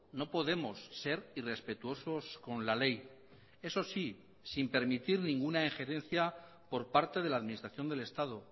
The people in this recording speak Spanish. no podemos ser irrespetuosos con la ley eso sí sin permitir ninguna ingerencia por parte de la administración del estado